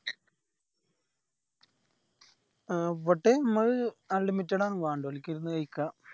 അവിടെ ഇമ്മള് unlimited ആണ് വേണ്ടോലിക് ഇരുന്ന് കഴിക്കാം